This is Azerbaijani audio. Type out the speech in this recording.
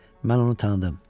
Mən onu tanıdım.